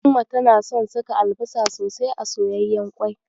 Umma tana son saka albasa sosai a soyayyan ƙwai.